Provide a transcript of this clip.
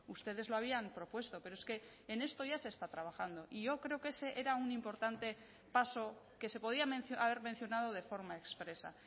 ustedes lo habían propuesto pero es que en esto ya se está trabajando y yo creo que ese era un importante paso que se podía haber mencionado de forma expresa